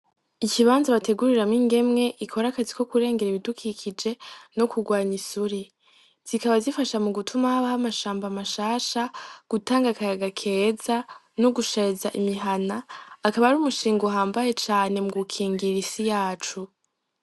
Ikibanza bateguriramwo ingemwe ikorakazi ko kurengera ibidukikije no kurwanya isuri zikaba zifasha mu gutuma habaho amashamba mashasha gutanga akayaga keza no gushariza imihana akaba ar'umushinga uhambaye cane mu gukingira isi yacu.